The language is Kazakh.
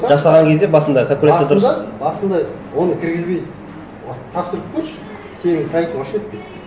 жасаған кезде басында калькуляция дұрыс басында басында оны кіргізбейді вот тапсырып көрші сенің проектің вообще өтпейді